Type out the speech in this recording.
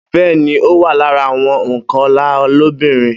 Bẹ́ẹ́ni, ó wá lára àwọn ònkọlà lóbìnrin.